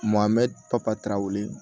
Mɔ n bɛ papa weele